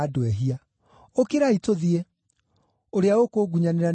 Ũkĩrai, tũthiĩ! Ũrĩa ũkũngunyanĩra nĩarooka!”